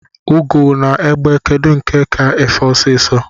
Ugo na egbe kedụ nke ka ife ọsisọ?